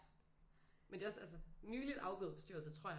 Men det er også altså nyligt afgåede bestyrelse tror jeg